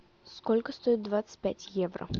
сколько стоит двадцать пять евро